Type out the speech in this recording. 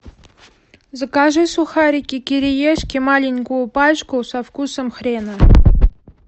закажи сухарики кириешки маленькую пачку со вкусом хрена